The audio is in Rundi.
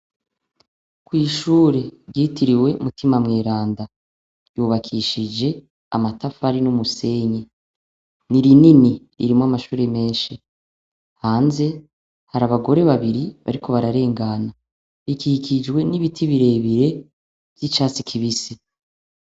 Kwishuri ryitiriwe mutima mweranda ryubakishije amatafari n' umusenyi ni rinini irimwo amashure hanze hari abagore babiri bariko bararengana ikikijwe n' ibiti bire bire vy' icatsi kibisi.